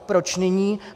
Proč nyní?